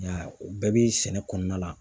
Nka o bɛɛ bi sɛnɛ kɔnɔna la